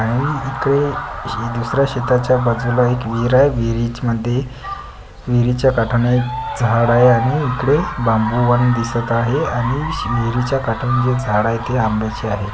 इथे ही दुसर्‍या शेताच्या बाजूला एक विहीर आहे विहीरीच मध्ये विहीरीच्या काठानं एक झाड आहे आणि इकडे बांबू उभारलेले दिसत एह अनिश विहीरीच्या काठांनीजे झाड आहे ते आंब्याचं आहे.